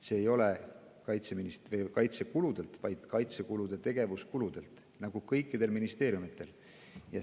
See ei tule kaitsekuludelt, vaid kaitsekulude tegevuskuludelt, nagu kõikidel ministeeriumidel.